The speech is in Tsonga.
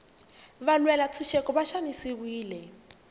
valwela ntshuxeko va xanisiwile